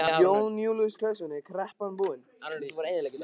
Jón Júlíus Karlsson: Er kreppan búin?